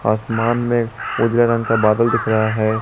आसमान में उजला रंग का बादल दिख रहा है।